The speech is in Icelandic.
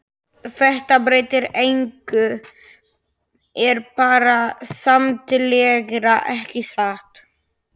Þetta breytir engu er bara skemmtilegra, ekki satt?